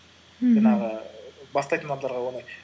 мхм жаңағы бастайтын адамдарға оңай